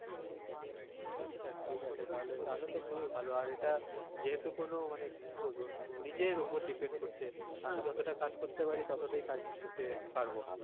ঠিক আছে তাহলে তাহলে তো খুবই ভালো আর এটা যেহেতু কোনো মানে কি বলবো নিজের ওপর depend করছে আমি যতটা কাজ করতে পারি ততোটাই নিতে পারবো কাজ।